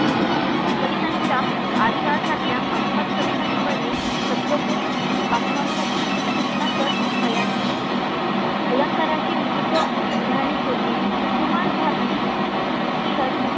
कवितांच्या अशासारख्या पाच-पाच कविता निवडणे शब्दकोश वाचनांसाठी सुचनाप्रत तयार करते. अलंकाराची विविध उदाहरणे शोधणे, कुमारभारती तीलच